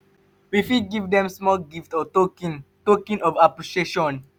we fit give dem small gift or token token of appreciation